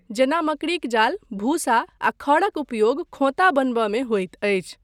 जेना मकड़ीक जाल, भूसा, आ खढ़क उपयोग खोंता बनयबामे होइत अछि।